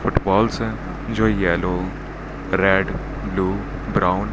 footballs हैं जो yellow red blue brown --